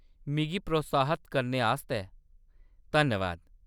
मिगी प्रोत्साहत करने आस्तै धन्नबाद।